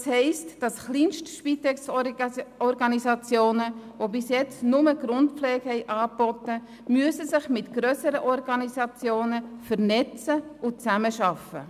Das heisst, dass kleinste Spitex-Organisationen, die bis jetzt nur Grundpflege angeboten haben, sich mit grösseren Organisationen vernetzen und zusammenarbeiten müssen.